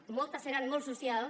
i moltes seran molt socials